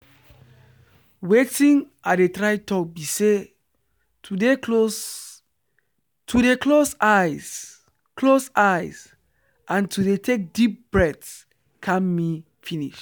watin i dey try talk be say to dey close eyes close eyes and to dey take deep breath calm me finish.